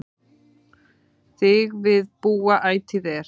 Þig við búa ætíð er